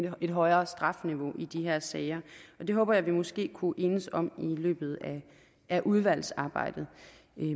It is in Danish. et højere strafniveau i de her sager det håber jeg vi måske kunne enes om i løbet af udvalgsarbejdet